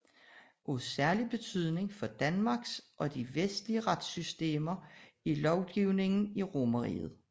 Af særlig betydning for Danmarks og de vestlige retssystemer er lovgivningen i Romerriget